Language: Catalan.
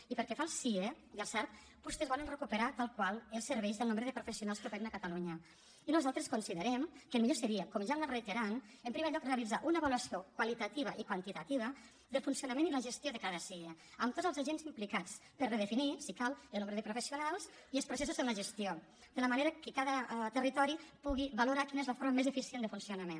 i pel que fa al sie i al sarv vostès volen recuperar tal qual els serveis i el nombre de professionals que operen a catalunya i nosaltres considerem que el millor seria com ja hem anat reiterant en primer lloc realitzar una avaluació qualitativa i quantitativa del funcionament i la gestió de cada sie amb tots els agents implicats per redefinir si cal el nombre de professionals i els processos en la gestió de manera que cada territori pugui valorar quina és la forma més eficient de funcionament